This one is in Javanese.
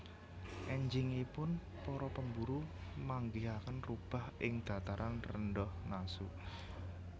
Enjingipun para pemburu manggihaken rubah ing Dataran Rendah Nasu